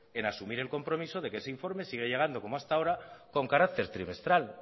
en asumir el compromiso de que ese informe siga llegando como hasta ahora con carácter trimestral